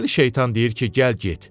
Dəli şeytan deyir ki, gəl get.